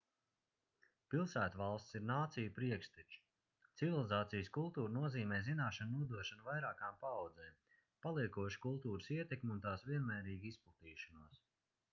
pilsētvalstis ir nāciju priekšteči civilizācijas kultūra nozīmē zināšanu nodošanu vairākām paaudzēm paliekošu kultūras ietekmi un tās vienmērīgu izplatīšanos